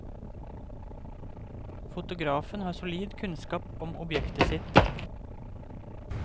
Fotografen har solid kunnskap om objektet sitt.